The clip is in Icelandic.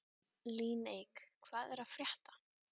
Líneik, hvað er að frétta?